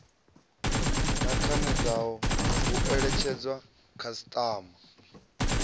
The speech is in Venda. na khanedzano hu eletshedzwa khasiṱama